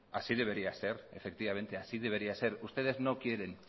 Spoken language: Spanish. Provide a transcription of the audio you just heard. así debería ser efectivamente así debería ser ustedes no quieren